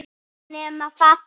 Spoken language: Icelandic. Ekki nema það þó!